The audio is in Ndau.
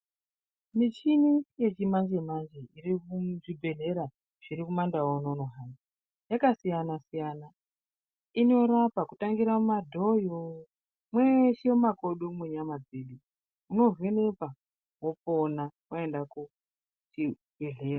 Michini yechimanje-manje iri muzvibhedhlera zviri kumandau unono hayi yakasiyana-siyana inorapa kutangira mumadhoyo mweshe mumakodo mwenyama dzedu, munovhenekwa wopona, waenda kuchibhedhlera.